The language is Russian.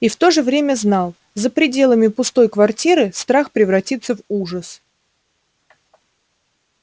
и в то же время знал за пределами пустой квартиры страх превратится в ужас